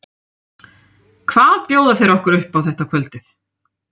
Hvað bjóða þeir okkur upp á þetta kvöldið?